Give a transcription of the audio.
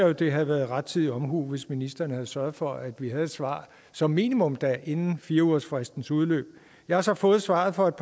at det havde været rettidig omhu hvis ministeren havde sørget for at vi havde et svar som minimum inden fire ugersfristens udløb jeg har så fået svaret for et